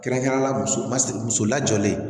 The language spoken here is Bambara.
Kɛrɛnkɛrɛnnenya la muso lajɔlen